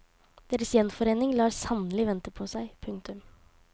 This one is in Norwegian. Deres gjenforening lar sannelig vente på seg. punktum